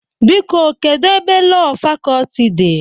Biko, kedu ebe Lọọ Fakọlti dị?